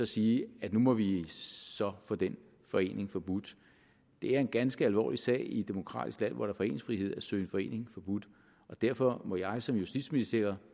sige at nu må vi så få den forening forbudt det er en ganske alvorlig sag i et demokratisk land hvor der er foreningsfrihed at søge en forening forbudt derfor må jeg som justitsminister